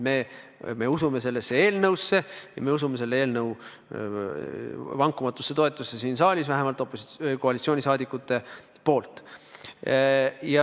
Me usume sellesse eelnõusse, me usume selle eelnõu vankumatusse toetamisse siin saalis, vähemalt koalitsioonisaadikute poolt.